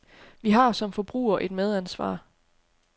Vi har som forbrugere et medansvar.